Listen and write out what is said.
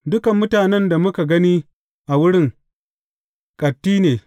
Dukan mutanen da muka gani a wurin, ƙatti ne.